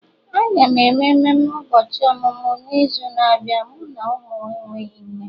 Aga m eme mmemme ụbọchị ọmụmụ m n'izu na-abịa, mụ na ụmụ enweghị nne